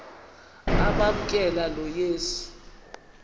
amamkela lo yesu